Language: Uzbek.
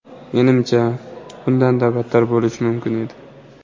Menimcha, bundanda battar bo‘lishi mumkin edi.